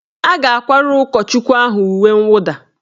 A ga-akwara ụkọchukwu ahụ uwe nwụda